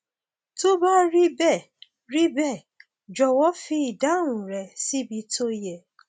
tó bá rí bẹẹ rí bẹẹ jọwọ fi ìdáhùn rẹ síbi tó yẹ